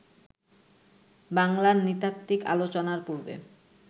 বাংলার নৃতাত্ত্বিক আলোচনার পূর্বে